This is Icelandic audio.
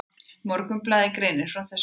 Morgunblaðið greinir frá þessu.